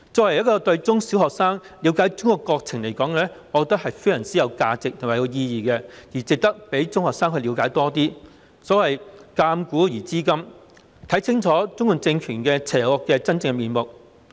為了令中小學生了解中國國情，我覺得這是非常有價值及有意義的，值得讓中學生了解更多，所謂鑒古而知今，藉此讓學生看清楚中共政權邪惡的真面目。